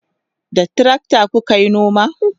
da trakta kukayi noma?